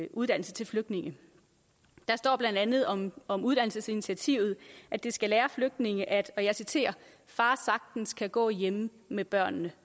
uddannelse til flygtninge der står blandt andet om om uddannelsesinitiativet at det skal lære flygtninge at og jeg citerer far sagtens kan gå hjemme med børnene